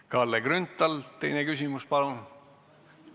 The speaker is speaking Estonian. Kalle Grünthal, teine küsimus, palun!